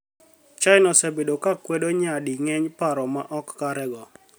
China osebedo ka kwedo nyadi ng'eny paro ma ok kare go.